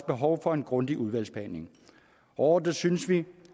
behov for en grundig udvalgsbehandling overordnet synes vi